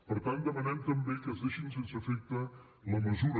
per tant demanem també que es deixi sense efecte la mesura